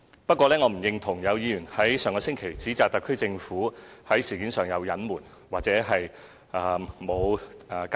不過，我並不認同有議員在上星期指摘特區政府在事件上有所隱瞞，或無好好交代。